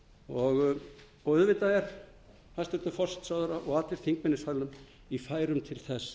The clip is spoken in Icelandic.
tillögu og auðvitað er hæstvirtur forsætisráðherra og allir þingmenn í salnum í færum til þess